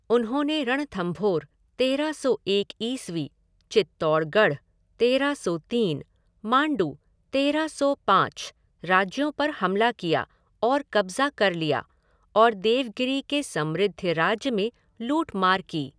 उन्होंने रणथंभोर, तेरह सौ एक ईस्वी, चित्तौड़गढ़, तेरह सौ तीन, माण्डु, तेरह सौ पाँच, राज्यों पर हमला किया और कब्जा कर लिया और देवगिरी के समृद्ध राज्य में लूट मार की।